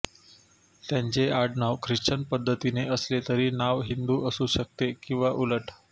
त्यांचे आडनाव ख्रिश्चन पद्धतीचे असले तरी नाव हिंदू असू शकते किंवा उलट